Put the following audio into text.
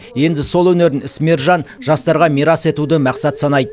енді сол өнерін ісмер жан жастарға мирас етуді мақсат санайды